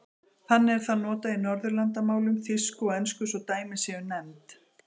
Þannig er það notað í Norðurlandamálum, þýsku og ensku svo dæmi séu nefnd.